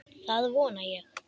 Það vona ég